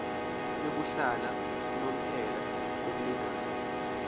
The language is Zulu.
yokuhlala unomphela kumlingani